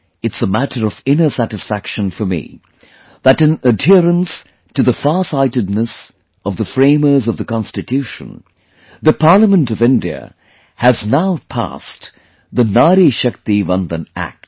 It's a matter of inner satisfaction for me that in adherence to the farsightedness of the framers of the Constitution, the Parliament of India has now passed the Nari Shakti Vandan Act